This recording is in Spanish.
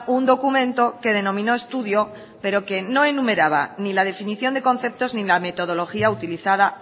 un documento que denominó estudio pero que no enumeraba ni la definición de conceptos ni la metodología utilizada